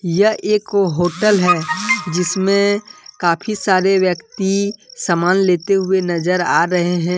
यह एक होटल है जिसमें काफी सारे व्यक्ति समान लेते हुए नजर आ रहे हैं।